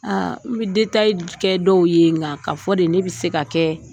Aa n bɛ detaye kɛ dɔw ye nka ka fɔ de ne bɛ se ka kɛ